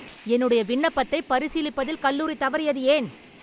என்னுடைய விண்ணப்பத்தை பரிசீலிப்பதில் கல்லூரி தவறியது ஏன்?